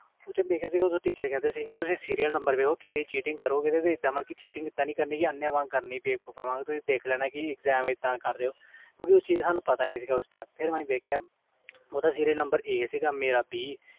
ਬੇਸ਼ਕ ਓਦੋ rteache ਕਹਿੰਦੇ ਸੀ serail ਨੰਬਰ ਦੇਖੋ ਇਹਦਾ ਨਹੀਂ ਕਰਨੀ ਅੰਨ੍ਹੇ ਵ cheating ਨਹੀਂ ਕਰਨੀ ਓਦੋ ਨਹੀਂ ਦੇਖਿਆ ਫਰ ਅਸੀਂ ਦੇਖਿਆ ਓਹਦਾ serail number A ਸੀ